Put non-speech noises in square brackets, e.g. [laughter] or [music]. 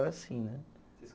[unintelligible] assim, né? [unintelligible]